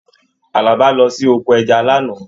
Àlàbá lọ sí oko ẹja l'ana